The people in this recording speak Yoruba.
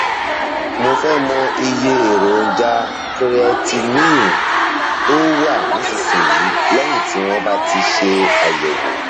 mo fẹ mọ iye èròjà creatinine tó wà nísinsìnyí lẹyìn tí wọn bá ti ṣe àyẹwò